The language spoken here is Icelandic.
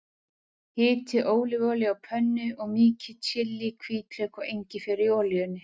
Hitið ólífuolíu á pönnu og mýkið chili, hvítlauk og engifer í olíunni.